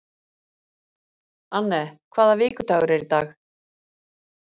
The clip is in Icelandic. Anne, hvaða vikudagur er í dag?